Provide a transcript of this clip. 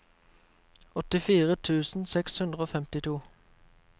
åttifire tusen seks hundre og femtito